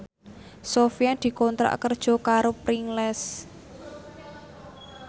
Sofyan dikontrak kerja karo Pringles